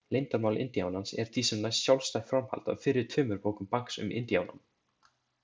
Leyndarmál indíánans er því sem næst sjálfstætt framhald af fyrri tveimur bókum Banks um indíánann.